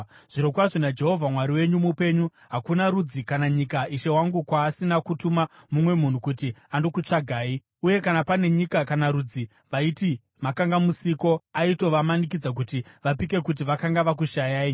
Zvirokwazvo naJehovha Mwari wenyu mupenyu, hakuna rudzi kana nyika, ishe wangu, kwaasina kutuma mumwe munhu kuti andokutsvagai. Uye kana pane nyika kana rudzi vaiti makanga musiko, aitovamanikidza kuti vapike kuti vakanga vakushayai.